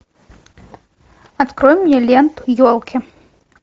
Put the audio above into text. открой мне ленту елки